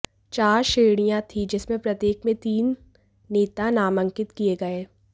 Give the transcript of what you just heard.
चार श्रेणियां थीं जिसमें प्रत्येक में तीन नेता नामांकित किए गए